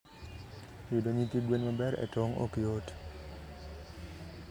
yudo nyithi gwen maber e tong' ok yot.